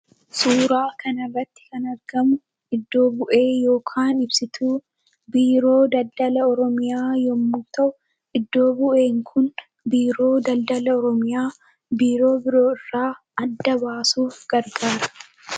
Suura kana irratti kan argamu iddoo bu'ee yookiin ibsituu Biiroo Daldaala Oromiyaa yemmuu ta'u iddoo bu'ee Kun Biiroo Daldaala Oromiyaa biiroo biroo irraa adda baasuuf gargaara.